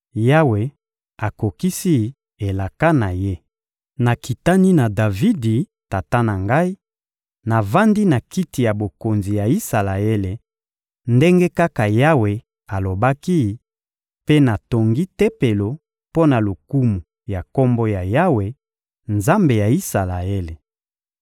Yawe akokisi elaka na Ye. Nakitani na Davidi, tata na ngai, navandi na kiti ya bokonzi ya Isalaele, ndenge kaka Yawe alobaki, mpe natongi Tempelo mpo na lokumu ya Kombo ya Yawe, Nzambe ya Isalaele.